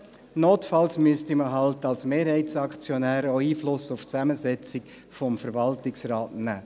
Notfalls müsste man als Mehrheitsaktionär auch Einfluss auf die Zusammensetzung des Verwaltungsrats nehmen.